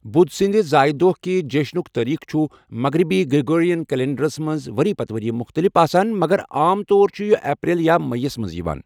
بُدھ سٕنٛدِ زایہ دۄہ کہِ جیٚشنُک تٲریخ چُھ مغرِبی گرٛیٚگورِین کیٚلنٛڈرس منٛز ؤری پتہٕ ؤری مُختٔلِف آسان مگر عام طور چُھ یہِ اپریل یا مییَس منٛز یِوان۔